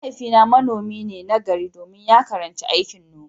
Mahaifina manomi ne nagari domin ya karanci aikin noma.